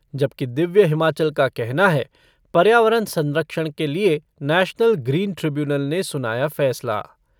जबकि दिव्य हिमाचल का कहना है पर्यावरण संरक्षण के लिए नैशनल ग्रीन ट्रिब्यूनल ने सुनाया फैसला।